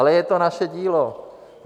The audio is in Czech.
Ale je to naše dílo.